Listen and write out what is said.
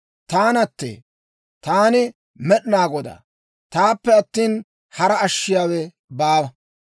«Taanattee; taani Med'inaa Godaa. Taappe attina, hara ashshiyaawe baawa.